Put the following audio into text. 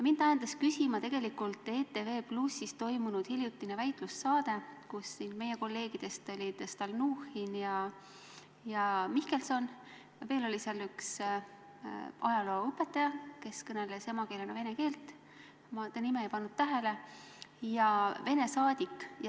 Mind ajendas küsima tegelikult ETV+-s toimunud hiljutine väitlussaade, kus meie kolleegidest olid kohal Stalnuhhin ja Mihkelson ning veel oli seal üks ajalooõpetaja, kes kõneles emakeelena vene keelt, ma nime ei pannud tähele, ja Venemaa saadik.